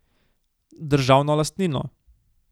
Državno lastnino.